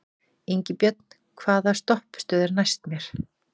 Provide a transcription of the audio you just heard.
Ingibjörn, hvaða stoppistöð er næst mér?